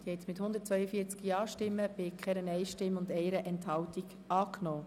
Bevor wir zur Gesamtabstimmung kommen, öffne ich die Diskussion noch einmal.